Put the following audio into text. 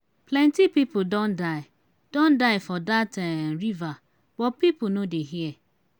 plenty people don die don die for dat um river but people no dey hear.